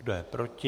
Kdo je proti?